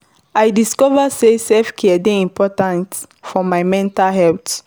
I discover say self-care dey important for my mental health.